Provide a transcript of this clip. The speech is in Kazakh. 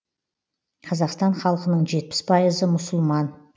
қазақстан халқының жетпіс пайызы мұсылман